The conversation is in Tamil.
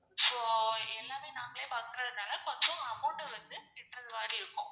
so எல்லாமே நாங்களே பாக்குறதுனால கொஞ்சம் amount வந்து கெட்றது மாதிரி இருக்கும்.